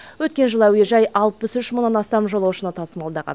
өткен жылы әуежай алпыс үш мыңнан астам жолаушы тасымалдаған